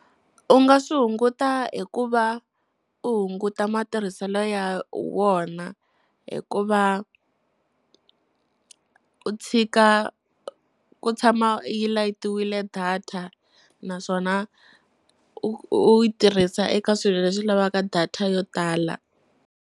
U nga swi hunguta hi ku va u hunguta matirhiselo ya wona, hi ku va u tshika ku tshama yi layitiwile data. Naswona u u u yi tirhisa eka swilo leswi lavaka data yo tala.